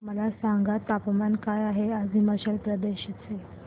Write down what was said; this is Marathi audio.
मला सांगा तापमान काय आहे आज हिमाचल प्रदेश चे